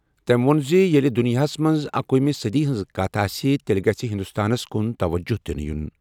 تٔمۍ ووٚن زِ ییٚلہِ دُنیاہَس منٛز اکوُہِمہِ صٔدی ہِنٛز کتھ آسہِ، تیٚلہِ گژھہِ ہندوستانَس کُن توجہ دِنہٕ یُن۔